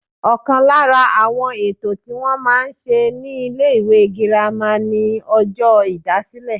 Ọ̀kan lára àwọn ètò tí wọ́n máa ń ṣe ní ilé ìwé girama ni ọjọ́ ìdásílẹ̀